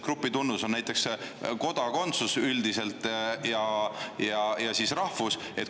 Grupitunnus on näiteks kodakondsus üldiselt ja rahvus.